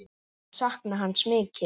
Ég mun sakna hans mikið.